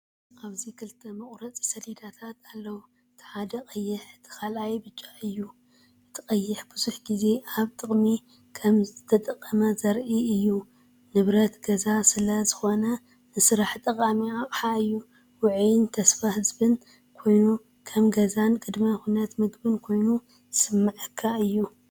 ኣብዚ ክልተ መቑረጺ ሰሌዳታት ኣለዉ። እቲ ሓደ ቀይሕ፣ እቲ ካልኣይ ብጫ እዩ። እቲ ቀይሕ ብዙሕ ግዜ ኣብ ጥቕሚ ከምዝተጠቕመ ዘርኢ እዩ። ንብረት ገዛ ስለ ዝኾነ ንስራሕ ጠቓሚ ኣቕሓ እዩ። ውዑይን ተስፋ ዝህብን ኮይኑ፡ከም ገዛን ቅድመ ኩነት ምግቢን ኮይኑ ዝስምዓካ እዩ።